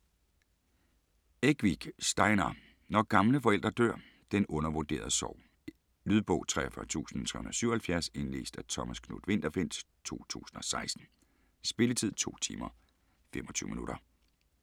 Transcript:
Ekvik, Steinar: Når gamle forældre dør: den undervurderede sorg Lydbog 43377 Indlæst af Thomas Knuth-Winterfeldt, 2016. Spilletid: 2 timer, 25 minutter.